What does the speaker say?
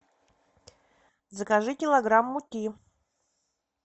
закажи килограмм муки